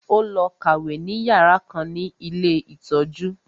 Ó lọ kàwé ní yàrá kan ní ilé ìtọ́jú